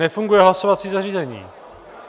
Nefunguje hlasovací zařízení.